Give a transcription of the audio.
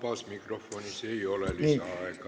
Vabas mikrofonis ei ole lisaaega.